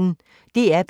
DR P1